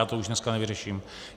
Já to už dneska nevyřeším.